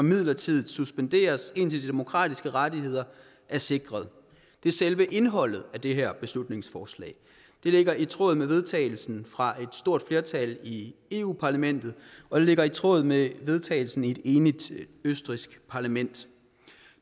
midlertidigt suspenderes indtil de demokratiske rettigheder er sikret det er selve indholdet af det her beslutningsforslag det ligger i tråd med vedtagelsen fra et stort flertal i europa parlamentet og ligger i tråd med vedtagelsen i et enigt østrigsk parlament